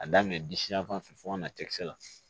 A daminɛ disiyanfan fɛ fɔ ka na cɛkisɛ la